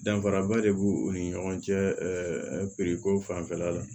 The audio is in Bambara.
Danfaraba de b'u ni ɲɔgɔn cɛ ko fanfɛla la